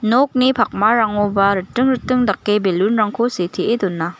nokni pakmarangoba riting riting dake balloon-rangko sitee dona.